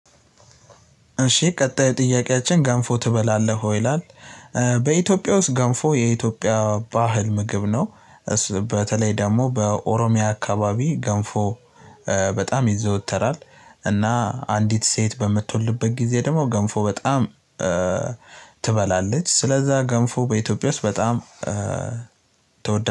እሺ ቀጣይ ጥያቄያችን "ገንፎ ትበላለህ ወይ?" ይላል፣ በኢትዮጵያ ውስጥ ገንፎ የኢትዮጵያ ባህል ምግብ ነው። በተለይ ደግሞ በኦሮሚያ አካባቢ ገንፎ በጣም ይዘወተራል። እና አንዲት ሴት በምትወልድበት ጊዜ ደግሞ ገንፎ በጣም ትበላለች። ስለዛ ገንፎ በኢትዮጵያ ውስጥ በጣም ተወዳጅ